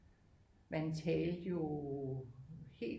Man talte jo helt